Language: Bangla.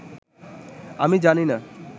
আমি জানি না